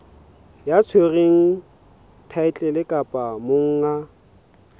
ya tshwereng thaetlele kapa monga